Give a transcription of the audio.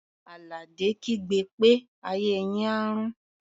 Àlàdé kígbe pé "ayé yín á rún!"